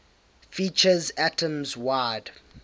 features atoms wide